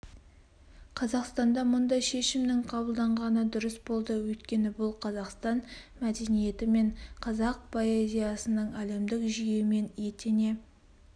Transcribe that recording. қазақстанда мұндай шешімнің қабылданғаны дұрыс болды өйткені бұл қазақстан мәдениеті мен қазақ поэзиясының әлемдік жүйемен етене